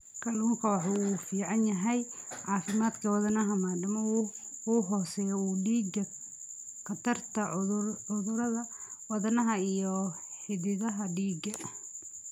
Kalluunku waxa uu u fiican yahay caafimaadka wadnaha maadaama uu hoos u dhigo khatarta cudurrada wadnaha iyo xididdada dhiigga.